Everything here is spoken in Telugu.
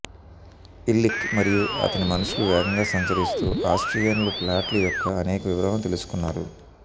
ఇల్లిక్ మరియు అతని మనుషులు వేగంగా సంచరిస్తూ ఆస్ట్రియన్లు ప్లాట్లు యొక్క అనేక వివరాలను తెలుసుకున్నారు